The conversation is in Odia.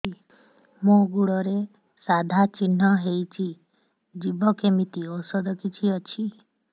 ମୋ ଗୁଡ଼ରେ ସାଧା ଚିହ୍ନ ହେଇଚି ଯିବ କେମିତି ଔଷଧ କିଛି ଅଛି